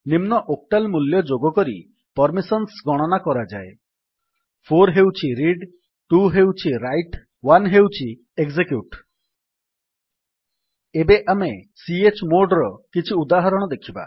ନିମ୍ନ ଓକ୍ଟାଲ୍ ମୂଲ୍ୟ ଯୋଗ କରି ପର୍ମିସନ୍ସ ଗଣନା କରାଯାଏ 4 ହେଉଛି ରିଡ୍ 2ହେଉଛି ରାଇଟ୍ 1 ହେଉଛି ଏକଜେକ୍ୟୁଟ୍ ଏବେ ଆମେ chmodର କିଛି ଉଦାହରଣ ଦେଖିବା